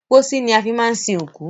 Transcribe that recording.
Pósí ni a fi máa ń sin òkú.